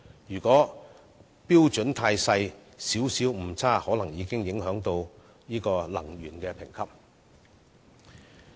如果標準過分嚴謹，些微誤差已有可能影響產品的能源效益評級。